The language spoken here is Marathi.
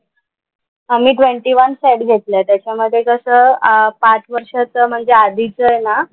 आम्ही ट्वेंटी वन सेट घेतलेत. त्याच्यामधे कसं अह पाच वर्षाचं म्हणजे आधीचं आहे ना,